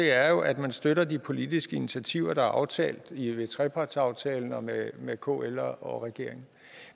er jo at man støtter de politiske initiativer der er aftalt i trepartsaftalen og med med kl og regeringen